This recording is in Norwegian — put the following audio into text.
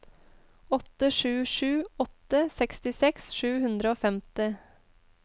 åtte sju sju åtte sekstiseks sju hundre og femti